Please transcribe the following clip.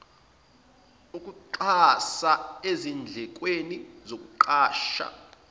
ukuxhasa ezindlekweni zokuqasha